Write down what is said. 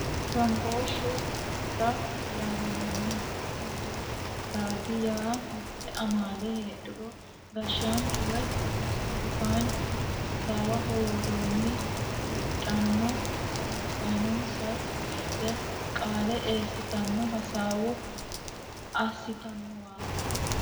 Gaambooshu hara yaamamano, gambooshu harati yaa mite amaale heedhuro gashanchu woyi songafinichootu hasawaho woronni heedhano harunsasinenisa woshite qaale eesatenni hasawa asitanowaati